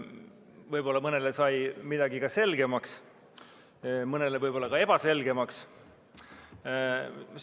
Võib-olla sai mõnele midagi selgemaks, mõnele aga jäi ka ebaselgemaks.